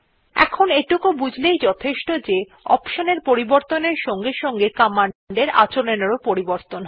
এখন এইটুকু বুঝলেই যথেষ্ট যে অপশন এর পরিবর্তনের সঙ্গে সঙ্গে কমান্ডের আচরণ এরও পরিবর্তন হয়